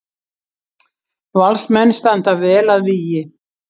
Valsmenn standa vel að vígi